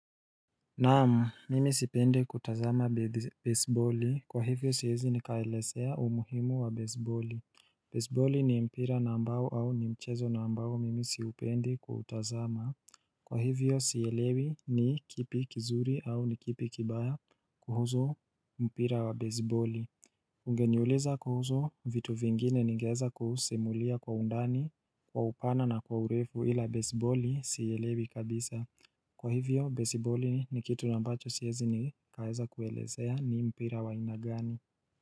Naam, mimi sipendi kutazama bezi boli. Kwa hivyo siezi nikaelezea umuhimu wa bezi boli. Bezi boli ni mpira na ambao au ni mchezo na ambao mimi siupendi kuutazama. Kwa hivyo sielewi ni kipi kizuri au ni kipi kibaya kuhusu mpira wa bezi boli. Ungeniuleza kuhusu vitu vingine ningeweza kusimulia kwa undani, kwa upana na kwa urefu ila beziboli siielewi kabisa. Kwa hivyo bezi boli ni kitu na ambacho siezi nikaeza kuelezea ni mpira wa aina gani.